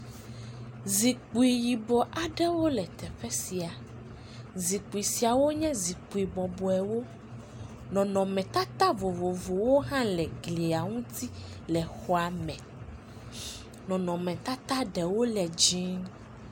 Zikpui yibɔ aɖewo le teƒe sia. Zikpui siawo nye zikpui bɔbɔbewo. Nɔnɔmetata vovovowo hã le glia ŋuti le xɔa me. Nɔnɔmetata ɖewo le dzie.